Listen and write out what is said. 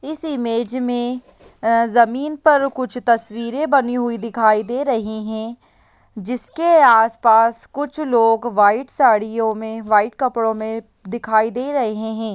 इस इमेज में जमीन पर कुछ तस्वीरे बनी हुई दिखाई दे रही हैं जिसके आस पास कुछ लोग वाईट साड़ियों में वाईट कपड़ो में दिखाई दे रहे हैं।